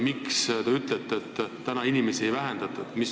Miks te ütlete täna, et inimeste arvu ei vähendata?